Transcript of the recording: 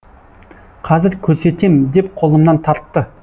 қазір көрсетем деп қолымнан тартты